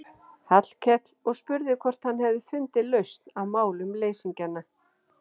Hallkel og spurði hvort hann hefði fundið lausn á málum leysingjanna.